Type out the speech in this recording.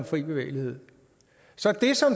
fri bevægelighed så det som